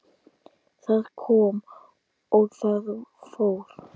Það kom og það fór.